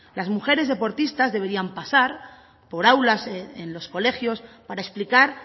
las mujeres deportistas deberían pasar por aulas en los colegios para explicar